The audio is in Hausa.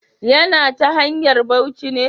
Ya na ta hanyar bauci ne.